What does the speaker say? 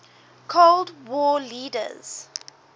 cold war leaders